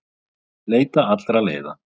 Leita allra leiða